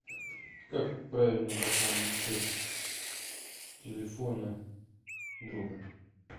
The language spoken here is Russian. как правильно пополнить счет телефона друга